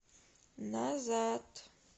назад